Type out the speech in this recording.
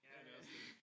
Ja men det også dét